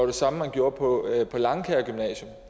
det samme man gjorde på langkaer gymnasium